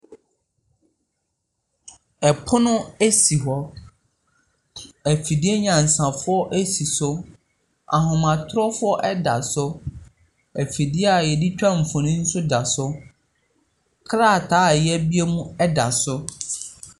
Pono si hɔ, afidie nyansafoɔ si so, ahomatorofoɔ da so, afidie a Yɛde twa mfonini da so. Krataa a yɛabue mu da so.